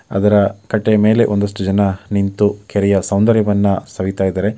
ಅದರ ಕಟ್ಟೆಯ ಮೇಲೆ ಒಂದಷ್ಟು ಜನ ನಿಂತು ಕೆರೆಯ ಸೌಂದರ್ಯವನ್ನ ಸವಿತಾ ಇದ್ದಾರೆ .